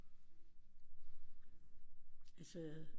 Altså